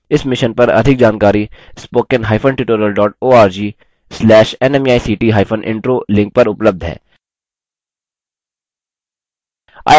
इस mission पर अधिक जानकारी spoken hyphen tutorial dot org slash nmeict hyphen intro link पर उपलब्ध है